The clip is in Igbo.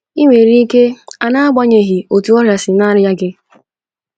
I nwere ike a n’agbanyeghị otu ọrịa si na - arịa gị. ”